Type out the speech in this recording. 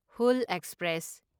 Hul express